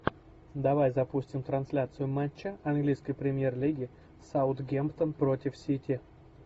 давай запустим трансляцию матча английской премьер лиги саутгемптон против сити